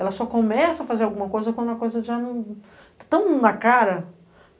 Ela só começa a fazer alguma coisa quando a coisa já não está tão na cara.